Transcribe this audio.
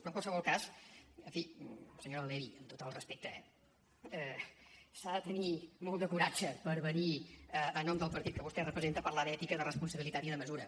però en qualsevol cas en fi senyora levy amb tot el respecte eh s’ha de tenir molt de coratge per venir en nom del partit que vostè representa a parlar d’ètica de responsabilitat i de mesura